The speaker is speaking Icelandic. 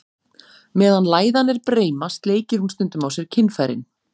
Meðan læðan er breima, sleikir hún stundum á sér kynfærin.